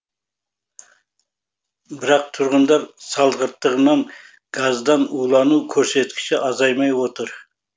бірақ тұрғындар салғырттығынан газдан улану көрсеткіші азаймай отыр